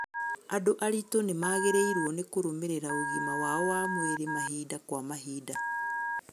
Andũ aritũ nĩmagĩrĩirwo nĩ kũrũmĩrĩra ũgima wao wa mwĩrĩ mahinda kwa mahinda